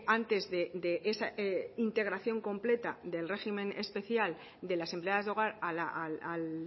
antes de esa integración completa del régimen especial de las empleadas de hogar al